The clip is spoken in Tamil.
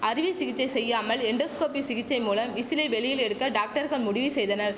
அறுவை சிகிச்சை செய்யாமல் எண்டோஸ்கோபி சிகிச்சை மூலம் விசிலை வெளியில் எடுக்க டாக்டர்கள் முடிவு செய்தனர்